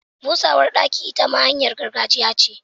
Busarwa daki ita ma hanyar gargajiya ce.